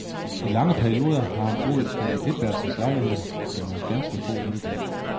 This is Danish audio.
I lange perioder har han boet i etværelses lejligheder med nogle ganske få møbler.